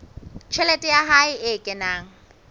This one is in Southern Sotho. tjhelete ya hae e kenang